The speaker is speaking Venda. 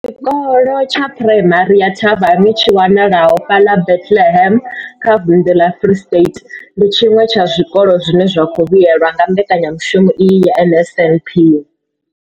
Tshikolo tsha Phuraimari ya Thabang tshi wanalaho fhaḽa Bethlehem kha vunḓu ḽa Free State, ndi tshiṅwe tsha zwikolo zwine zwa khou vhuelwa nga mbekanyamushumo iyi ya NSNP.